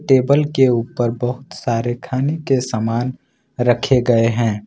Table के ऊपर बहुत सारे खाने के सामान रखे गए हैं।